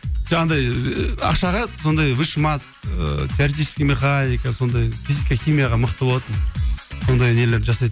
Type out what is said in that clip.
жоқ андай ыыы ақшаға сондай высший мат ыыы теоретический маханика сондай физика химияға мықты болатынмын сондай нелер жасайтынмын